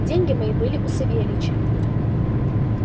деньги мои были у савельича